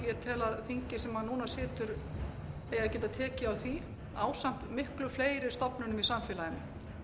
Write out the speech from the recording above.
ég tel að þingið sem núna situr eigi að geta tekið á því ásamt miklu fleiri stofnunum í samfélaginu